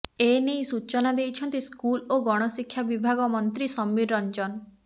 ଏନେଇ ସୂଚନା ଦେଇଛନ୍ତି ସ୍କୁଲ ଓ ଗଣଶିକ୍ଷା ବିଭାଗ ମନ୍ତ୍ରୀ ସମୀର ରଞ୍ଜନ